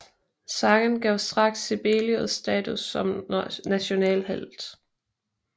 Sangen gav straks Sibelius status som nationalhelt